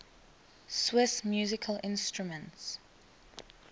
swiss musical instruments